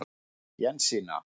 Jensína